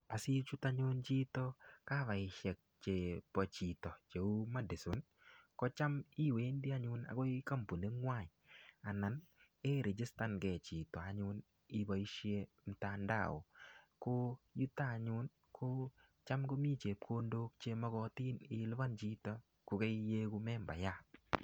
Asichut anyun chito kavaisiek chebo chito cheu Madison, kocham iwendi anyun agoi kampuningwai anan ii irigistan nge chito anyun iboisie mtandao. Ko yuto anyun ii ko cham ko mi chepkondok chemogotin ilupan chito ko kaiyegu membayat.